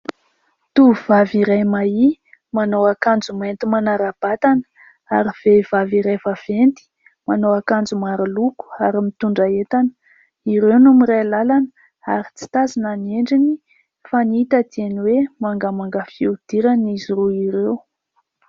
tovovavy iray mahia manao akanjo mainty manara-batana ary vehivavy iray vaventy manao akanjo maroloko ary mitondra entana ireo no miray lalana ary tsy tazana ny endriny fa ny hita dia ny hoe mangamanga fiodirana izy roa ireo